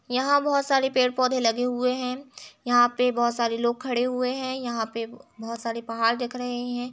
यहाँ बहुत सारे पेड़ पौधे लगे हुऐ है यहाँ पे बहुत सारे लोग खड़े हुए है यहाँ पे बहुत सारे पहाड़ दिख रहे है ।